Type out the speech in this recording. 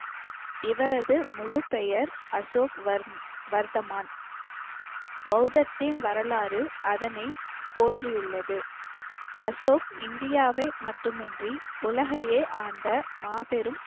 இவரது முழுப்பெயர் அசோக் வர்~ வர்த்தமான் பௌத்தத்தின் வரலாறு அதனை போற்றியுள்ளது. அசோக் இந்தியாவை மட்டுமின்றி உலகையே ஆண்ட மாபெரும்